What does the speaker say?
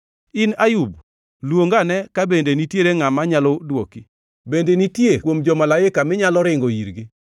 “In Ayub, luong ane ka bende nitiere ngʼama nyalo dwoki? Bende nitie kuom jo-malaika minyalo ringo irgi?